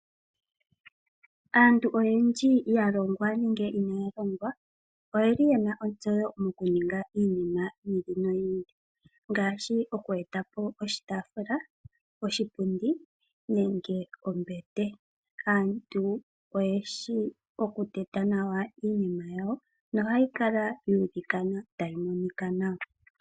Aantu oyendji ya longwa nenge inaa ya longwa oye li ye na ontseyo mo ku ninga iinima yi ili no yi ili ngaashi oku eta po oshitaafula, oshipundi, nenge ombete. Aantu oyeshi okuteta nawa iinima yawo no ha yikala ya elekana ta yi monika nawa.